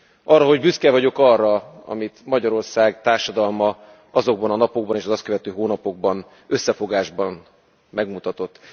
Arra, hogy büszke vagyok arra, amit Magyarország társadalma azokban a napokban és az azt követő hónapokban összefogásban megmutatott.